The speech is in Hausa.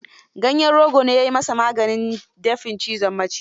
Ganyen rogo ne ya yi masaa maganin dafin cizon miciji.